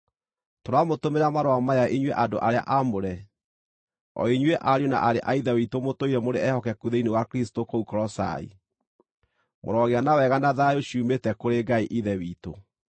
Tũramũtũmĩra marũa maya inyuĩ andũ arĩa aamũre, o inyuĩ ariũ na aarĩ a Ithe witũ mũtũire mũrĩ ehokeku thĩinĩ wa Kristũ kũu Kolosai: Mũrogĩa na wega na thayũ ciumĩte kũrĩ Ngai Ithe witũ.